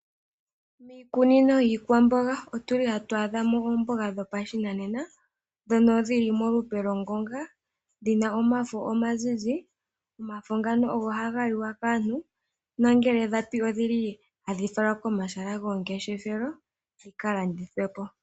Miikunino yiikwamboga otuli hatu adhamo oomboga dhopashinanena, ndhono dhili molupe lwongonga, dhina omafo omazizi. Omafo ngano ogo haga liwa kaantu nangele dhapi, odhili hadhi falwa komahala gomangeshethelo dhikalandithwepo.